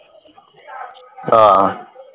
ਆਹ